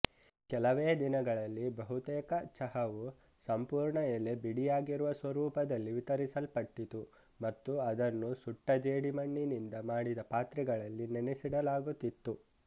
ಕೆಲವೇ ದಿನಗಳಲ್ಲಿ ಬಹುತೇಕ ಚಹಾವು ಸಂಪೂರ್ಣಎಲೆ ಬಿಡಿಯಾಗಿರುವ ಸ್ವರೂಪದಲ್ಲಿ ವಿತರಿಸಲ್ಪಟ್ಟಿತು ಮತ್ತು ಅದನ್ನು ಸುಟ್ಟ ಜೇಡಿಮಣ್ಣಿನಿಂದ ಮಾಡಿದ ಪಾತ್ರೆಗಳಲ್ಲಿ ನೆನೆಸಿಡಲಾಗುತ್ತಿತ್ತು